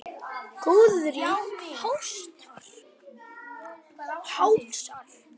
Góðir hálsar!